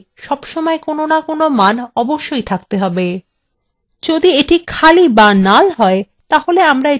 যদি এটি খালি বা null হয় তাহলে আমরা এটিকে কোনো প্রাথমিক key হিসাবে গণ্য করতে পারবো না